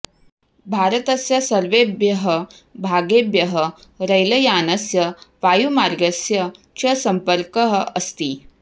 भारतस्य सर्वेभ्यः भागेभ्यः रैलयानस्य वायुमार्गस्य च सम्पर्कः अस्ति